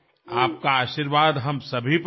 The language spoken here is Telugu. మా అందరికీ మీ ఆశీస్సులు అందాలి